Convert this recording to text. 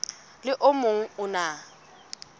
le o mong o na